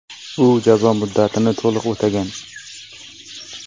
U jazo muddatini to‘liq o‘tagan.